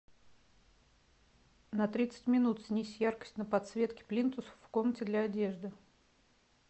на тридцать минут снизь яркость на подсветке плинтуса в комнате для одежды